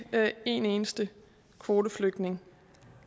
en eneste kvoteflygtning